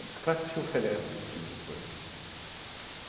bicicleta te oferece esse tipo de coisa.